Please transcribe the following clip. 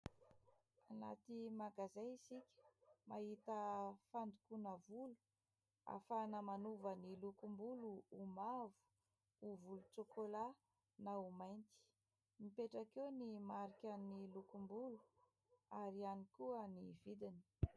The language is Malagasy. Anaty magazay isika, mahita fandokoana volo ahafahana manova ny lokom-bolo ho mavo, ho volontsokola na ho mainty. Mipetraka eo ny mariky ny lokom-bolo ary ihany koa ny vidiny.